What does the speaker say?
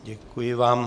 Děkuji vám.